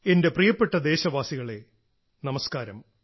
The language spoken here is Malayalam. എന്റെ പ്രിയപ്പെട്ട ദേശവാസികളെ നമസ്കാരം